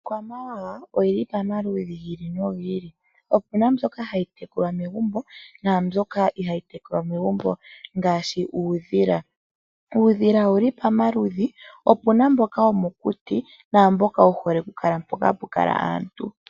Iikwamawawa oyili pamaludhi gi ili nogiili, opuna mbyoka hayi tekulwa megumbo naambyoka ihayi tekulwa megumbo ngaashi uudhila. Uudhila owuli pamaludhi opuna mboka womokuti naamboka wu hole oku kala mpoka hapu kala aantu.